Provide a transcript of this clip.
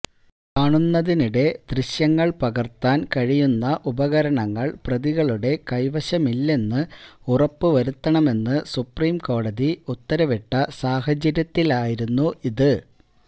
കാണുന്നതിനിടെ ദൃശ്യങ്ങൾ പകർത്താൻ കഴിയുന്ന ഉപകരണങ്ങൾ പ്രതികളുടെ കൈവശമില്ലെന്ന് ഉറപ്പു വരുത്തണമെന്ന് സുപ്രീംകോടതി ഉത്തരവിട്ട സാഹചര്യത്തിലായിരുന്നു ഇത്